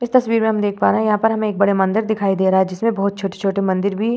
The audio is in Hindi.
इस तस्वीर में हम देख पा रहे हैं। यहाँ पर हमें एक बड़े मंदिर दिखाई दे रहा है जिसमें बहोत छोटे-छोटे मंदिर भी --